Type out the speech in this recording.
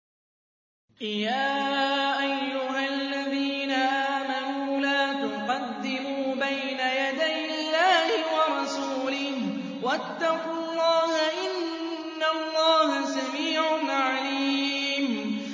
يَا أَيُّهَا الَّذِينَ آمَنُوا لَا تُقَدِّمُوا بَيْنَ يَدَيِ اللَّهِ وَرَسُولِهِ ۖ وَاتَّقُوا اللَّهَ ۚ إِنَّ اللَّهَ سَمِيعٌ عَلِيمٌ